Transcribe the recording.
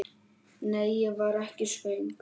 Nei, ég var ekki svöng.